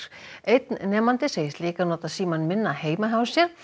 einn nemandi segist líka nota símann minna heima hjá sér